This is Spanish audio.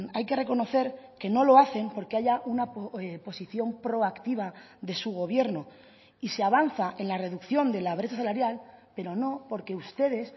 hay que reconocer que no lo hacen porque haya una posición proactiva de su gobierno y se avanza en la reducción de la brecha salarial pero no porque ustedes